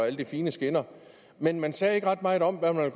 og alle de fine skinner men man sagde ikke ret meget om hvad man